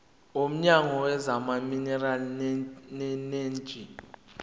womnyango wezamaminerali neeneji